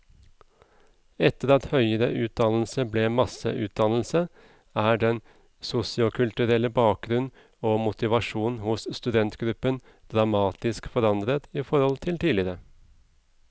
Etter at høyere utdannelse ble masseutdannelse, er den sosiokulturelle bakgrunn og motivasjon hos studentgruppen dramatisk forandret i forhold til tidligere.